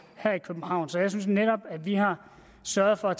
her i københavn så jeg synes netop at vi har sørget for at